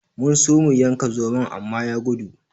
Mun so mu yanka zomon amma ya gudu.